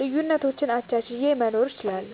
ልዩነቶችን አቻችየ መኖር እችላለሁ።